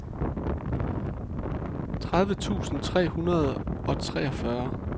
tredive tusind tre hundrede og treogfyrre